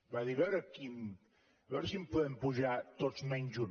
va dir a veure si els podem apujar tots menys un